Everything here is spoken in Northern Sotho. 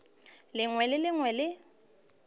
lengwe le le lengwe le